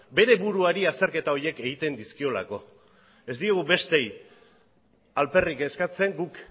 bere buruari azterketa horiek egiten dizkiolako ez diegu besteei alperrik eskatzen guk